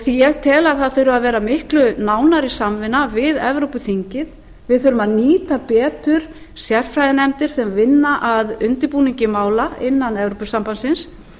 því ég tel að það þurfi að vera miklu nánari samvinna við evrópuþingið við þurfum að nýta betur sérfræðinefndir sem vinna að undirbúningi mála innan evrópusambandsins